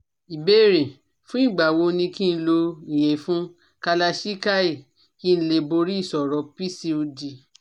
Ìbéèrè: Fún ìgbà wo ni ki n lo iyefun Kalachikai kí n lè borí ìṣòro PCOD